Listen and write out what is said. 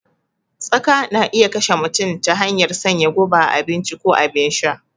Tsaka na iya kashe mutum ta hanyar sanya guba a abinci ko abin sha